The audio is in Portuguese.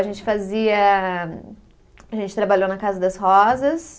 A gente fazia. A gente trabalhou na Casa das Rosas.